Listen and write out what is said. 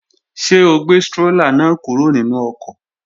Ṣé o gbé strólà náà kúrò nínú ọkọ̀?